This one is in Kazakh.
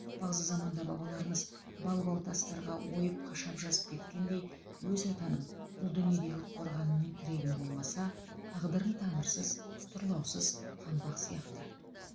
бағзы заманда бабаларымыз бал бал тастарға ойып қашап жазып кеткендей өз отаның бұл дүниедегі қорғаның мен тірегің болмаса тағдырың тамырсыз тұрлаусыз қаңбақ сияқты